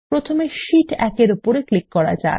প্রথমে আমরা শীট 1 এর উপর ক্লিক করা যাক